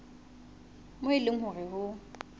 moo e leng hore ho